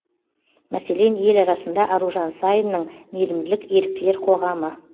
мәселен ел арасында аружан саинның мейірімділік еріктілер қоғамы